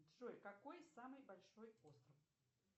джой какой самый большой остров